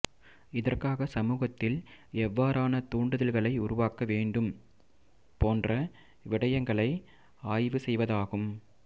இதற்காக சமூகத்தில் எவ்வாறான தூண்டுதல்களை உருவாக்க வேணடும் போன்ற விடயங்களை ஆய்வுசெய்வதாகும்